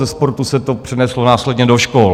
Ze sportu se to přeneslo následně do škol.